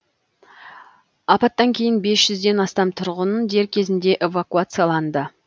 апаттан кейін бес жүзден астам тұрғын дер кезінде эвакуацияланды